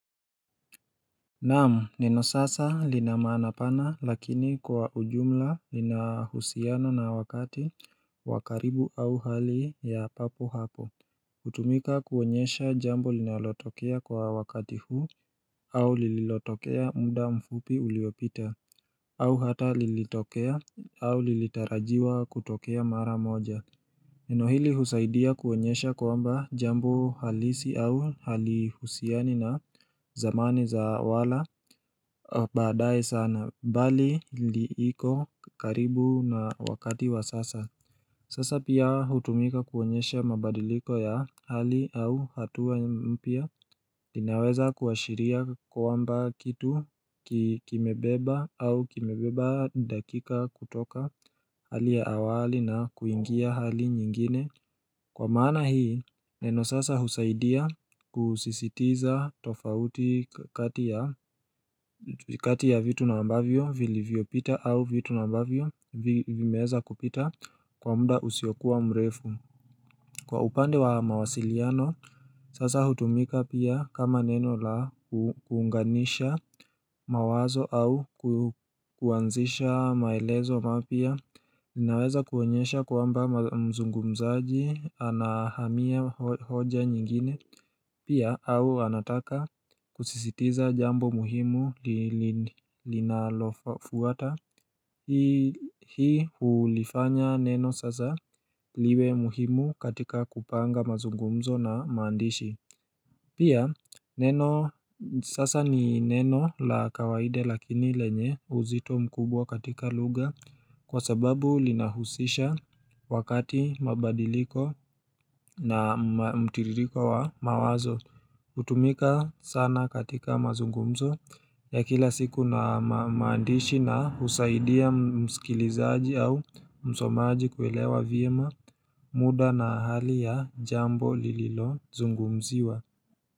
Naam neno sasa lina maana pana lakini kwa ujumla lina husiano na wakati wa karibu au hali ya papo hapo Utumika kuoenyesha jambo linalotokea kwa wakati huu au lililotokea muda mfupi uliopita au hata lilitokea au lilitarajiwa kutokea mara moja Neno hili husaidia kuonyesha kwamba jambo halisi au halihusiani na zamani za wala baadae sana bali liiko karibu na wakati wa sasa Sasa pia hutumika kuonyesha mabadiliko ya hali au hatua mpya linaweza kuashiria kwamba kitu kimebeba au kimebeba dakika kutoka hali ya awali na kuingia hali nyingine Kwa maana hii neno sasa husaidia kusisitiza tofauti kati ya kati ya vitu na ambavyo vilivyopita au vitu na ambavyo vimeweza kupita Kwa mda husiokuwa mrefu Kwa upande wa mawasiliano Sasa hutumika pia kama neno la kuunganisha mawazo au kuanzisha maelezo mapya linaweza kuonyesha kwamba mzungumzaji anahamia hoja nyingine Pia au anataka kusisitiza jambo muhimu linalofuata Hii hulifanya neno sasa liwe muhimu katika kupanga mazungumzo na maandishi Pia neno sasa ni neno la kawaida lakini lenye uzito mkubwa katika lugha Kwa sababu linahusisha wakati mabadiliko na mtiririko wa mawazo hutumika sana katika mazungumzo ya kila siku na maandishi na husaidia mskilizaji au msomaji kuelewa vyema muda na hali ya jambo lililo zungumziwa.